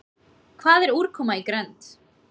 Hvað er úrkoma í grennd?